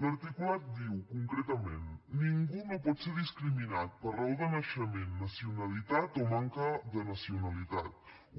l’articulat diu concretament ningú no pot ser discriminat per raó de naixement nacionalitat o manca de nacionalitat